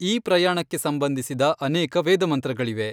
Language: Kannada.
ಈ ಪ್ರಯಾಣಕ್ಕೆ ಸಂಬಂಧಿಸಿದ ಅನೇಕ ವೇದಮಂತ್ರಗಳಿವೆ.